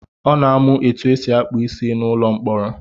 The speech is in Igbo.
Ọ na-amụ etu esi akpụ isi n'ụlọ mkpọrọ.